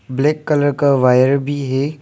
Black colour का wire भी है।